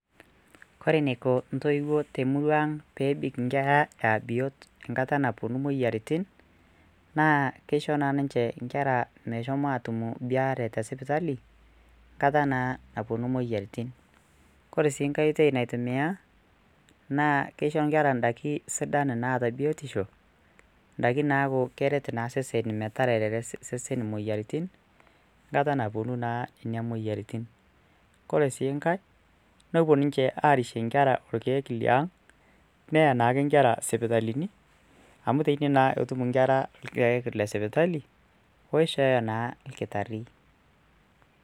kore eneiko intoiwuo temurua ang peebik inkera aa biot enkata naponu imoyiaritin naa keisho naa ninche inkera meshomo atumu biare tesipitali nkata naa naponu imoyiaritin kore sii nkae oitei naitimia naa keisho inkera indaiki sidan naata biotisho indaiki naaku keret naa seseni metarere seseni moyiaritin nkata naa naponu nenia moyiaritin kore sii nkae nopuo ninche arishe ilkeek liang neya naake inkera sipitalini amu teine naa etum inkera ilkeek lesipitali oishooyo naa ilkitarri.